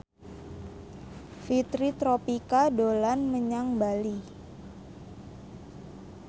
Fitri Tropika dolan menyang Bali